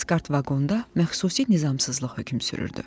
Plaskart vaqonda məxsusi nizamsızlıq hökm sürürdü.